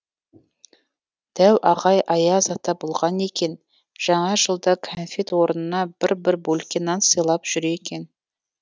дәу ағай аяз ата болған екен жаңа жылда конфет орнына бір бір бөлке нан сыйлап жүр екен